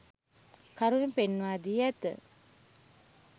කරුණු පෙන්වා දී ඇත.